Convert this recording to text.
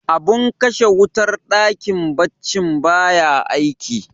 abin kashe wutar dakin baccin baya aiki